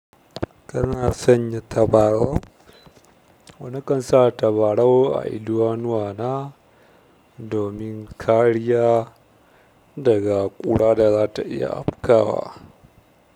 Kana sanya tabarau? Na kansa tabarau a idanuwa na. Domin kariya daga ƙura da za ta iya afkawa.